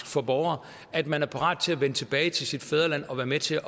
for borgere at man er parat til at vende tilbage til sit fædreland og være med til